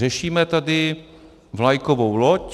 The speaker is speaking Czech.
Řešíme tady vlajkovou loď...